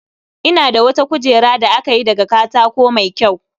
Ina da wata kujera da aka yi daga katako mai kyau